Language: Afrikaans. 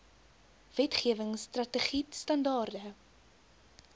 wetgewing strategied standaarde